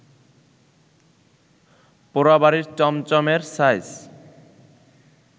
পোড়াবাড়ির চমচমএর সাইজ